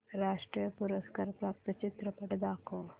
राष्ट्रीय पुरस्कार प्राप्त चित्रपट दाखव